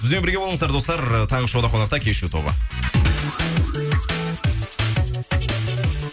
бізбен бірге болыңыздар достар таңғы шоуда қонақта кешью тобы